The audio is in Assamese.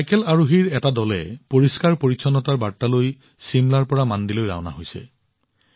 চাইকেল আৰোহীৰ এটা দলে পৰিষ্কাৰ পৰিচ্ছন্নতাৰ বাৰ্তা লৈ চিমলাৰ পৰা মাণ্ডিলৈ ৰাওনা হৈছে